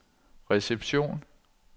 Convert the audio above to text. reception